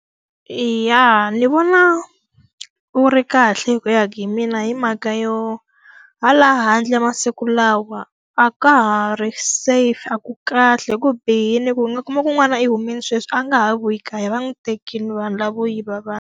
Eya, ni vona wu ri kahle hi ku ya hi mina hi mhaka yo hala handle masiku lawa a ka ha ri safe, a ku kahle, ku bihile, u nga kuma ku n'wana i humile sweswi a nga ha vuyi kaya va n'wi tekile vanhu lavo yiva vanhu.